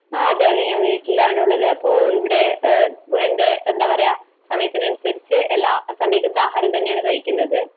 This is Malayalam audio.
അതെയതെ. ഞാൻ വീട്ടിലാണുള്ളത്. അപ്പോൾ ഇവിടെ എന്റെ എന്താപറയുക, സമയത്തിനനുസരിച്ച് എല്ലാ സമീകൃതാഹാരം തന്നെയാണ് കഴിക്കുന്നത്.